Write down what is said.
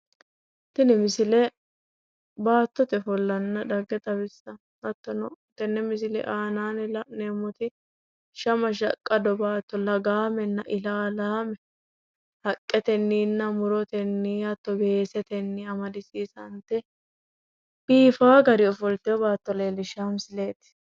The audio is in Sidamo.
Tini misile baattote ofollanna dhagge xawissanno hattono tenne misile aana la'neemmoti shama shaqqado baatto lagaamenna ilalaame haqqetenninna murotenni hatto weesetenni amadisiisante biifawo gari ofolteyo baatto leellishshawo misileeti.